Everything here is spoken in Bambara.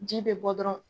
Ji bɛ bɔ dɔrɔn